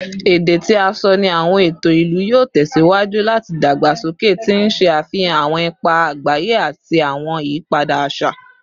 Ede ti a sọ ni awọn eto ilu yoo tẹsiwaju lati dagbasoke, ti n ṣe afihan awọn ipa agbaye ati awọn iyipada aṣa